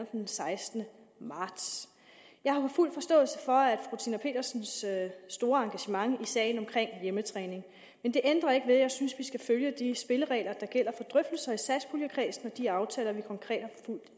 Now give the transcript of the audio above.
den sekstende marts jeg har fuld forståelse for fru tina petersens store engagement i sagen omkring hjemmetræning men det ændrer ikke ved at jeg synes vi skal følge de spilleregler der gælder for drøftelser i satspuljekredsen og de aftaler vi konkret har